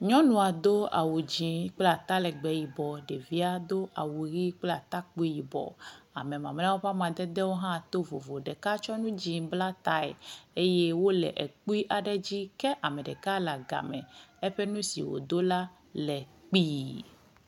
Nyɔnua do awu dzi kple atalegbe yibɔ. Ɖevia do awu ʋi kple atakpui yibɔ. Ame mamleawo ƒe amadedewo hã to vovo. Ɖeka tsɔ nu dzi bla tae eye wo le ekpui aɖe dzi kea me ɖeka le aga me eƒe nu si wodo la le kpi.